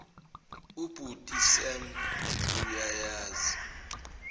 ubhuti sam uyayazi